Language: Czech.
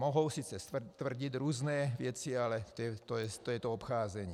Mohou sice tvrdit různé věci, ale to je to obcházení.